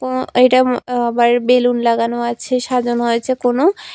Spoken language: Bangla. অ এইটা আঃ বাইরে বেলুন লাগানো আছে সাজানো হয়েছে কোনো--